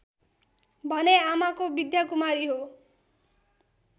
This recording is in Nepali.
भने आमाको विद्याकुमारी हो